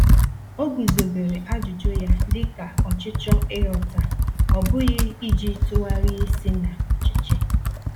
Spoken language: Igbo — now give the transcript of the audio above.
O guzobere ajụjụ ya dị ka ọchịchọ ịghọta, ọ bụghị iji tụgharị isi na ọchịchị.